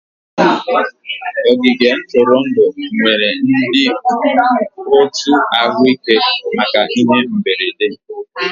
Ogige ntụrụndụ nwere ndị otu ahụike maka ihe mberede